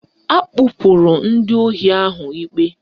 Akpụpụrụ ndị ohi ahụ ikpe